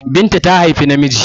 Binta ta haifi namiji